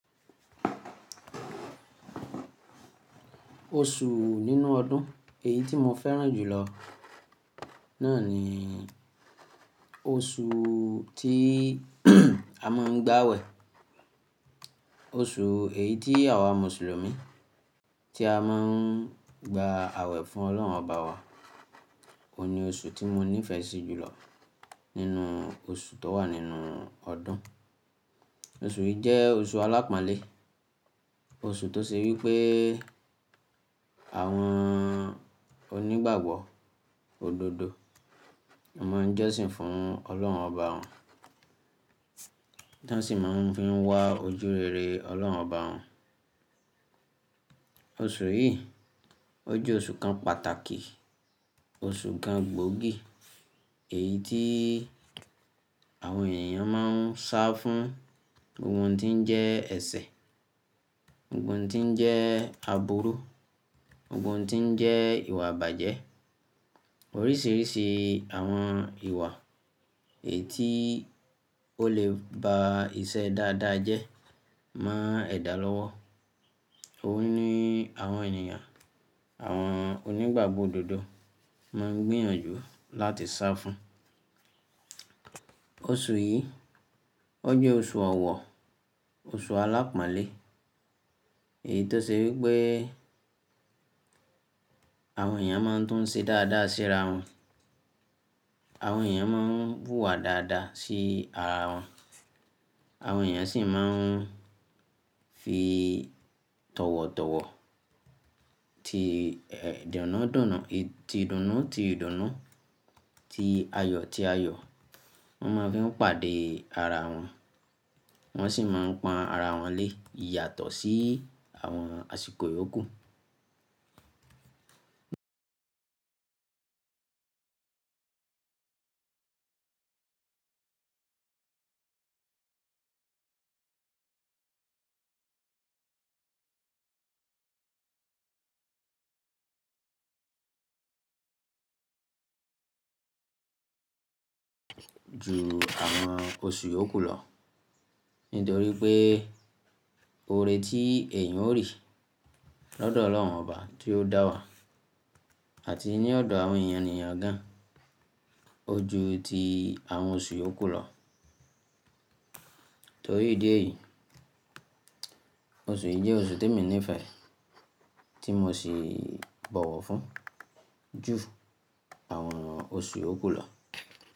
Oṣù nínú ọdún èyí tí mo fẹ́ràn jù lọ náà ni oṣù tí a máa ń gbàwẹ̀. Oṣù èyí tí àwa Mùsùlùmí tí a máa ń gbà àwẹ̀ fún Ọlọ́run ọba wa. Óun ní oṣù tí mo nífẹ̀ẹ́ sí jù lọ nínú oṣù tó wà nínú ọdún. Oṣù yìí jẹ́ oṣù alápáánlé, oṣù tó ṣe wí pé àwọn onígbàgbọ́ òdodo wọn máa ń jọ́sìn fún ọlọ́run ọba wọn, tí wọ́n sì máa ń fi wá ojúrere Ọlọ́run ọba wọn. Oṣù yìí, ó jẹ́ oṣù kan pàtàkì, oṣù kan gbóògì, èyí tí àwọn ènìyàn máa ń sá fún ohun tó ń jẹ́ ẹsẹ̀, Gbogbo ohun ti ń jẹ́ àbúrú, gbogbo ohun ti ń jẹ́ ìwà ìbàjẹ́, oríṣìíríṣìí àwọn ìwà èyí tí ó lè ba ìṣe dáadáa jẹ́ mọ ẹ̀dà lọ́wọ́. Óun ní àwọn ènìyàn, àwọn onígbàgbọ́ òdodo máa ń gbìyànjú láti sá fún. Oṣù yìí, ó jẹ́ oṣù ọ̀wọ̀, oṣù alápáánlé, èyí tó ṣe wí pé àwọn ènìyàn máa ń tún ṣe dáadáa sí ara wọn. Àwọn ènìyàn máa ń wù wà dáadáa sí ara wọn. Àwọn ènìyàn sì máa ń fi tọ̀wọ̀tọ̀wọ̀, ti ìdùnnú, ti ìdùnnú, ti ayọ̀, ti ayọ̀, wọ́n máa fi ń pàdé ara wọn. Wọ́n sì máa ń pan ara wọn lé yàtọ̀ sí àwọn àsìkò yókù ju àwọn oṣù yókù lọ. Nítorí pé oore tí èèyàn ó rí lọ́dọ̀ Ọlọ́run ọba tí ó dá wa àti ní ọ̀dọ̀ àwọn ènìyàn gan, ó ju ti àwọn oṣù yókù lọ. Torí ìdí èyí, oṣù yìí jẹ́ oṣù témi nífẹ̀ẹ́, tí mo sì bọ̀wọ̀ fún ju àwọn oṣù yókù lọ.